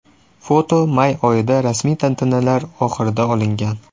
Foto may oyida, rasmiy tantanalar oxirida olingan.